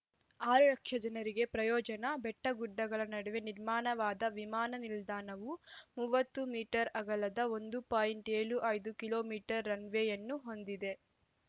ಆರು ಲಕ್ಷ ಜನರಿಗೆ ಪ್ರಯೋಜನ ಬೆಟ್ಟಗುಡ್ಡಗಳ ನಡುವೆ ನಿರ್ಮಾಣವಾದ ವಿಮಾನ ನಿಲ್ದಾಣವು ಮೂವತ್ತು ಮೀಟರ್‌ ಅಗಲದ ಒಂದು ಪೋಯಿಂಟ್ ಏಳು ಐದು ಕಿಲೋ ಮೀಟರ್ ರನ್‌ ವೇಯನ್ನು ಹೊಂದಿದೆ